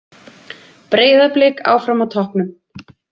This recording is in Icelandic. Breiðablik áfram á toppnum